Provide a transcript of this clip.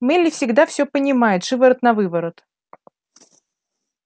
мелли всегда всё понимает шиворот-навыворот